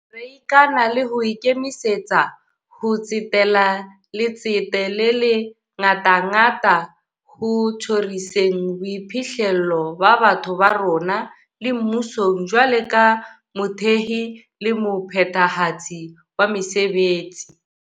Re ikana le ho ikemisetsa ho tsetela letsete le le ngatangata ho tjhoriseng boiphihlelo ba batho ba rona, le mmusong jwalo ka mothehi le mophethahatsi wa mesebetsi.